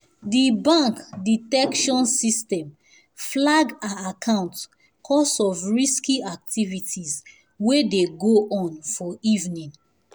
the bank detection system flag her account cos of risky activities wey dey go on for evening